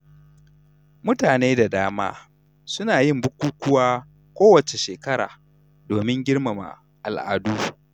Mutane da dama suna yin bukukuwa kowace shekara domin girmama al'adu.